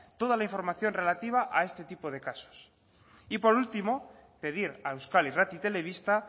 toda la información relativa a este tipo de casos y por último pedir a euskal irrati telebista